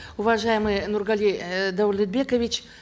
уважаемый нургали э даулетбекович